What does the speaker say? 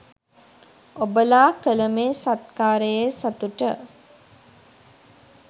ඔබලා කල මේ සත්කාරයේ සතුට